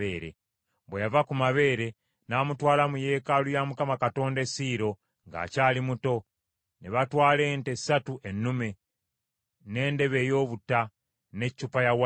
Bwe yava ku mabeere, n’amutwala mu yeekaalu ya Mukama Katonda e Siiro ng’akyali muto; ne batwala ente ssatu ennume, n’endebe ey’obutta, n’eccupa y’envinnyo.